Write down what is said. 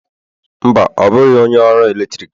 Mba, ọ bụghị onye ọru eletrik